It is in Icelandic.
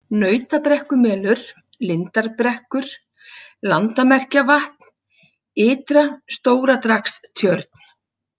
Nautabrekkumelur, Lindarbrekkur, Landamerkjavatn Ytra-, Stóradragstjörn